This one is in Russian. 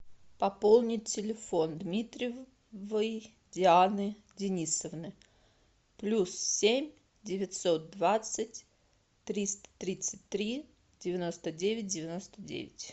пополнить телефон дмитриевой дианы денисовны плюс семь девятьсот двадцать триста тридцать три девяносто девять девяносто девять